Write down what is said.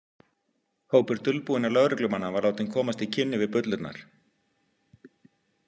Hópur dulbúinna lögreglumanna var látinn komast í kynni við bullurnar.